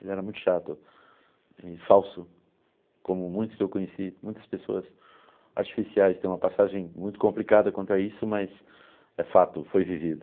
Ele era muito chato e falso, como muitos que eu conheci, muitas pessoas artificiais, têm uma passagem muito complicada quanto a isso, mas é fato, foi vivido.